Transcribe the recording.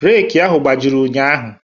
Reeku ahụ gbajịrị ụnyaahụ.